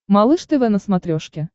малыш тв на смотрешке